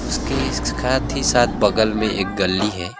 उसके साथ ही साथ बगल में एक गली है।